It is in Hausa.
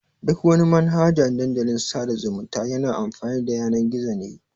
Duk wani Manhaja Dandalin sada zumunta yana amfani da Yanan-gizo ne.